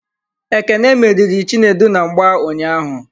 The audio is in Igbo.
Ekene meriri Chinedu na mgba ụnyaahụ.